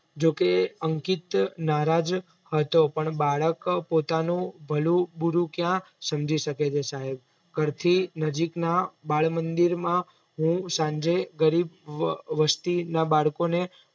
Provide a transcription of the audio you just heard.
જોકે અંકિત નારાજ હતો પણ બાળક પોતાનું ભલું બૂરું ક્યાં સમજી શકે છે સાહેબ ઘરથી નજીકના બાલમંદિરમાં હું સાંજે ગરીબ વસ્તીના બાળકોને